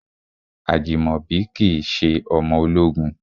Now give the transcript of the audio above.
Ajimobi kìí ṣe ọmọ ológun.